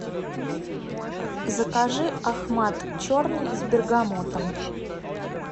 закажи ахмад черный с бергамотом